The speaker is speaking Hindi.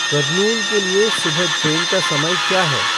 कर्नूल के लिए सुबह ट्रेन का समय क्या है